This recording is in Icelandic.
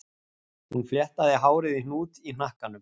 Hún fléttaði hárið í hnút í hnakkanum